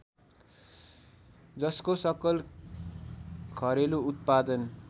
जसको सकल घरेलु उत्पादन